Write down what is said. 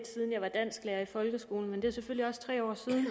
siden jeg var dansklærer i folkeskolen men det er selvfølgelig også tre år siden